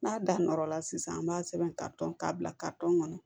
N'a da nɔrɔ la sisan an b'a sɛbɛn ka tɔn k'a bila kɔnɔ